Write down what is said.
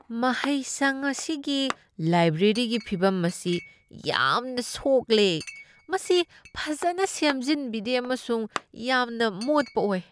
ꯃꯍꯩꯁꯪ ꯑꯁꯤꯒꯤ ꯂꯥꯏꯕ꯭ꯔꯦꯔꯤꯒꯤ ꯐꯤꯕꯝ ꯑꯁꯤ ꯌꯥꯝꯅ ꯁꯣꯛꯂꯦ , ꯃꯁꯤ ꯐꯖꯅ ꯁꯦꯝꯖꯤꯟꯕꯤꯗꯦ ꯑꯃꯁꯨꯡ ꯌꯥꯝꯅ ꯃꯣꯠꯄ ꯑꯣꯏ ꯫